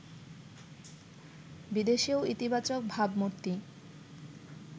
বিদেশেও ইতিবাচক ভাবমূর্তি